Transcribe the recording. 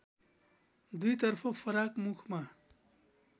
दुईतर्फ फराक मुखमा